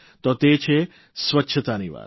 તો તે છે સ્વચ્છતાની વાત